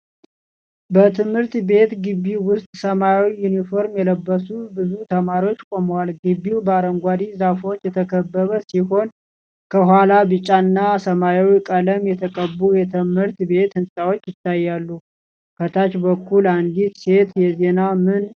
በትምህርት ቤት ግቢ ውስጥ ሰማያዊ ዩኒፎርም የለበሱ ብዙ ተማሪዎች ቆመዋል። ግቢው በአረንጓዴ ዛፎች የተከበበ ሲሆን፣ ከኋላ ቢጫና ሰማያዊ ቀለም የተቀቡ የትምህርት ቤት ሕንፃዎች ይታያሉ። ከታች በኩል አንዲት ሴት የዜና ምን እየሰጠች ነው?